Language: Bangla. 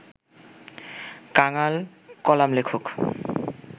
কাঙাল কলামলেখক